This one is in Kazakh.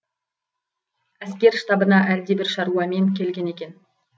әскер штабына әлдебір шаруамен келген екен